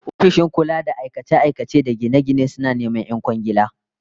Ofishin kula da aikace-aikace da gine-gine suna neman 'yan kwangiila